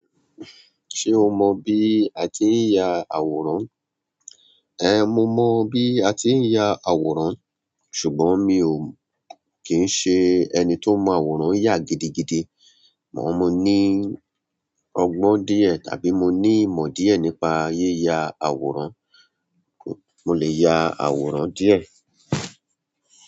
Ṣé o mọ bí a tí ń ya àwòrán? Ẹn, mo mọ bí a tí ń ya àwòrán ṣùgbọ́n mi ò kín ń ṣe ẹni tó mọ àwòrán yà gidigidi. Amọ mo ní ọgbọ́n díẹ̀ tàbí mo ní ìmọ̀ díẹ̀ nípa yíya àwòrán, mo lè ya àwòrán díẹ̀.